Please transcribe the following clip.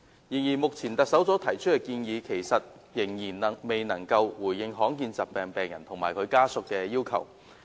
然而，目前特首所提出的建議仍然未能回應罕見疾病病人和其家屬的要求。